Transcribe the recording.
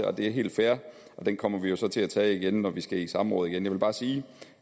og det er helt fair og den kommer vi jo så til at tage igen når vi skal i samråd igen jeg vil bare sige